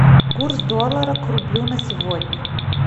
курс доллара к рублю на сегодня